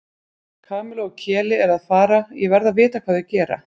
Kamilla og Keli eru að fara og ég verð að vita hvað þau gera